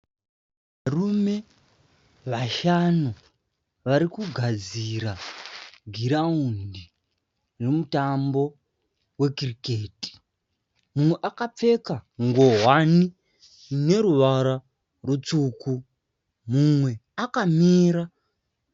Varume vashanu varikugadzira giraundi remutambo wekiriketi. Mumwe akapfeka ngowani ine ruvara rutsvuku, mumwe akamira.